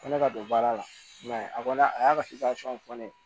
Ko ne ka don baara la i m'a ye a kɔni a y'a ka fɔ ne ye